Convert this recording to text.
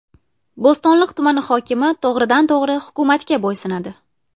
Bo‘stonliq tumani hokimi to‘g‘ridan to‘g‘ri hukumatga bo‘ysunadi.